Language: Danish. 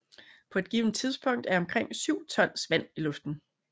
På et givet tidspunkt er omkring 7 tons vand i luften